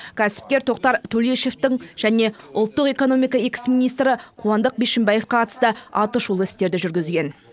кәсіпкер тоқтар төлешовтің және ұлттық экономика экс министрі қуандық бишімбаевқа қатысты атышулы істерді жүргізген